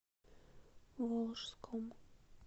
волжском